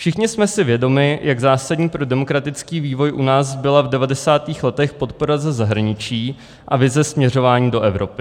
Všichni jsme si vědomi, jak zásadní pro demokratický vývoj u nás byla v 90. letech podpora ze zahraničí a vize směřování do Evropy.